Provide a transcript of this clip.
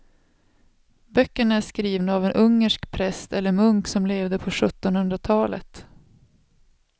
Böckerna är skrivna av en ungersk präst eller munk som levde på sjuttonhundratalet.